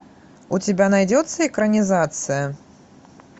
у тебя найдется экранизация